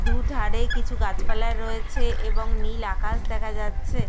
দু-ধারে কিছু গাছ পালা রয়েছে এবং নীল আকাশ দেখা যাচ্ছে।